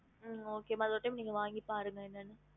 ஹம்